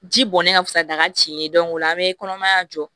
Ji bɔn ne ka fisa daga ci o la an bɛ kɔnɔmaya jɔ